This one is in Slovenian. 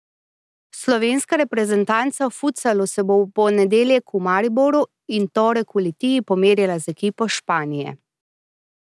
Slovenska reprezentanca v futsalu se bo v ponedeljek v Mariboru in torek v Litiji pomerila z ekipo Španije.